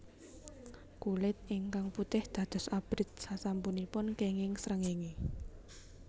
Kulit ingkang putih dados abrit sasampunipun kenging srengéngé